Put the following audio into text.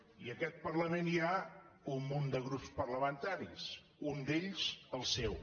i en aquest parlament hi ha un munt de grups parlamentaris un d’ells el seu